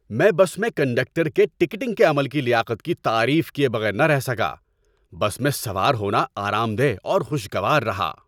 ‏میں بس میں کنڈکٹر کے ٹکٹنگ کے عمل کی لیاقت کی تعریف کیے بغیر نہ رہ سکا۔ بس میں سوار ہونا آرام دہ اور خوشگوار رہا۔